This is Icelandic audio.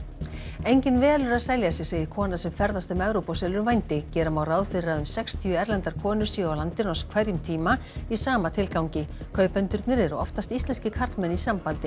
enginn velur að selja sig segir kona sem ferðast um Evrópu og selur vændi gera má ráð fyrir að um sextíu erlendar konur séu á landinu á hverjum tíma í sama tilgangi kaupendurnir eru oftast íslenskir karlmenn í sambandi